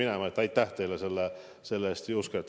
Nii et aitäh teile selle eest, Juske!